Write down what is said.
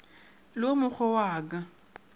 le wo mogwe wa ka